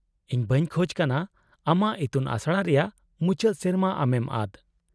-ᱤᱧ ᱵᱟᱹᱧ ᱠᱷᱚᱡᱽ ᱠᱟᱱᱟ ᱟᱢᱟᱜ ᱤᱛᱩᱱ ᱟᱥᱲᱟ ᱨᱮᱭᱟᱜ ᱢᱩᱪᱟᱹᱫ ᱥᱮᱨᱢᱟ ᱟᱢᱮᱢ ᱟᱫ ᱾